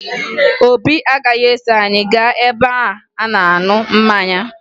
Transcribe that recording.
Obi agaghị eso anyị gaa ebe a na-aṅụ mmanya